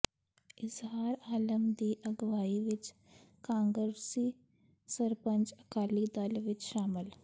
ਇਜਹਾਰ ਆਲਮ ਦੀ ਅਗਵਾਈ ਵਿਚ ਕਾਂਗਰਸੀ ਸਰਪੰਚ ਅਕਾਲੀ ਦਲ ਵਿਚ ਸ਼ਾਮਲ